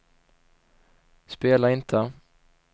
spela inte